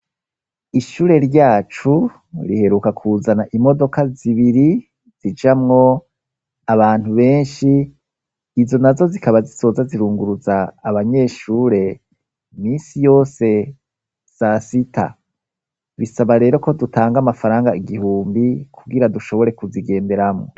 Ishure ryacu riheruka kuzana imodoka zibiri zijamwo abantu benshi, izo na zo zikaba zizoza zirunguruza abanyeshure iminsi yose sasita ,bisaba rero ko dutanga amafaranga igihumbi ,kugira dushobore kuzigenderamwo.